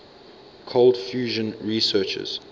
cold fusion researchers